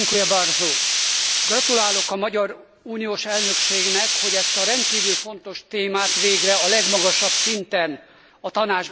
Gratulálok a magyar uniós elnökségnek, hogy ezt a rendkívül fontos témát végre a legmagasabb szinten a Tanácsban is megvitatják.